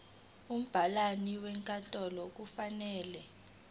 umabhalane wenkantolo kufanele